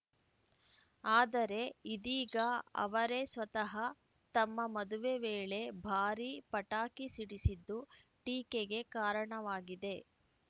ಆದರೆ ಇದೀಗ ಅವರೇ ಸ್ವತಃ ತಮ್ಮ ಮದುವೆ ವೇಳೆ ಭಾರೀ ಪಟಾಕಿ ಸಿಡಿಸಿದ್ದು ಟೀಕೆಗೆ ಕಾರಣವಾಗಿದೆ